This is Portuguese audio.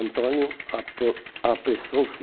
Antônio apro apressou-se